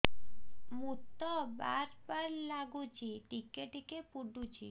ମୁତ ବାର୍ ବାର୍ ଲାଗୁଚି ଟିକେ ଟିକେ ପୁଡୁଚି